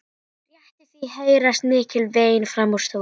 Rétt í því heyrast mikil vein framan úr stofu.